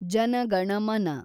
ಜನ ಗಣ ಮನ